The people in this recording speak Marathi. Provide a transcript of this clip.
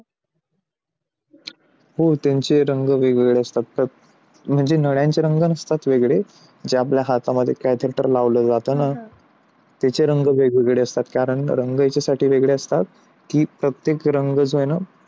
हो त्यांचे रंग वेगवेगळे असतात म्हणजे नद्यांचे रंग नसतात वेगळे जे ते आपल्या हातामध्ये cathelter लावला जाताना त्याचे रंग वेगळे वेगळे असतात कारण त्याचे रंग यासाठी वेगळे असतात ती प्रत्येक रंगाचा आहे ना?